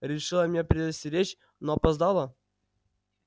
решила меня предостеречь но опоздала